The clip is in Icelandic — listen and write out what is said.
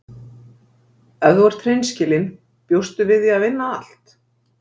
Ef þú ert hreinskilin bjóstu við því að vinna allt?